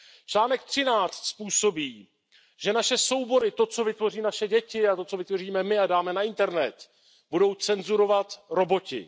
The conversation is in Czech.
Článek 13 způsobí, že naše soubory, to, co vytvoří naše děti, a to, co vytvoříme my a dáme na internet, budou cenzurovat roboti.